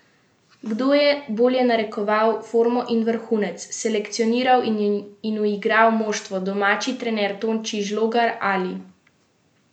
Kdo je bolje narekoval formo in vrhunec, selekcioniral in uigral moštvo, domači trener Tonči Žlogar ali gostujoči Vlado Badžim?